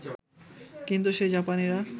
কিন্তু সেই জাপানিরা